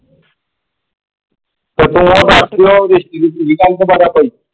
ਤੇ ਤੂੰ ਉਸ ਦਸਦੀ ਆ ਦੀ ਕੁੜੀ ,